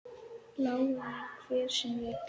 Lái mér, hver sem vill.